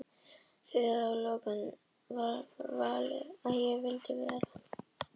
Að því loknu gat ég sjálf valið hvað ég vildi vera.